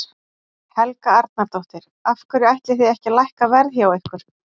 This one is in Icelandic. Helga Arnardóttir: Af hverju ætlið þið ekki að lækka verð hjá ykkur?